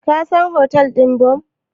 Ka san hotel ɗin Bon?